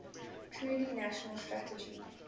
truly national strategy